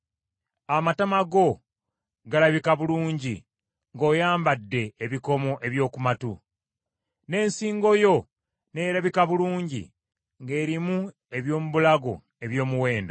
Amatama go galabika bulungi ng’oyambadde ebikomo eby’oku matu, n’ensingo yo nerabika bulungi ng’erimu eby’omu bulago eby’omuwendo.